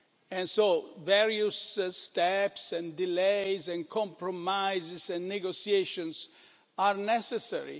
And so various steps and delays and compromises and negotiations are necessary.